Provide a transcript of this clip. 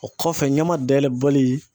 O kɔfɛ, ɲama dayɛlɛ bɔli